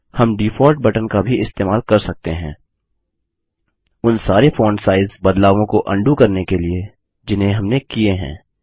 हम default button का भी इस्तेमाल कर सकते हैं उन सारे फ़ॉन्ट साइज़ बदलावों को उंडो करने के लिए जिन्हें हमने किये हैं